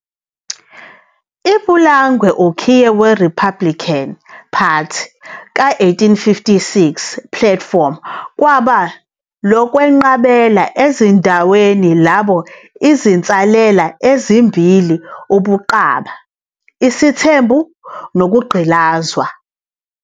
Ipulangwe ukhiye we Republican Party ka- 1856 platform kwaba "lokwenqabela ezindaweni labo izinsalela ezimbili ubuqaba, isithembu nokugqilazwa."